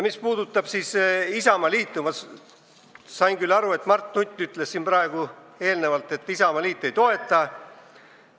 Mis puudutab Isamaaliitu, siis ma saan aru, et Mart Nutt ütles siin praegu, et Isamaaliit seda ei toeta.